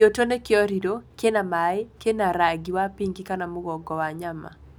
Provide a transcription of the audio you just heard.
Gĩũtũ nĩ kĩoriro, kĩna maĩ, kĩna rangi wa pink kana mũgongo wa nyama.